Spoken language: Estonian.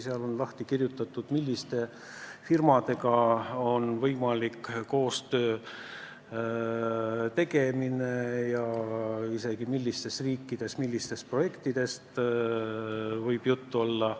Seal on selgitatud, mis firmadega on võimalik koostöö tegemine ja isegi millised projektid millistes riikides võivad kõne alla tulla.